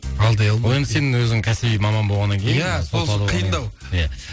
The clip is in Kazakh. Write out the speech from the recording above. алдай алмайды ол енді сен өзің кәсіби маман болғаннан кейін иә сол үшін қиындау иә